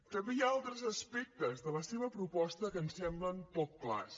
també hi ha altres aspectes de la seva proposta que ens semblen poc clars